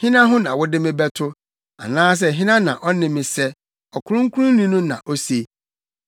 “Hena ho na wode me bɛto? Anaasɛ hena na ɔne me sɛ?” Ɔkronkronni no na ose.